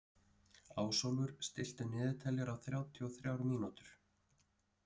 Ásólfur, stilltu niðurteljara á þrjátíu og þrjár mínútur.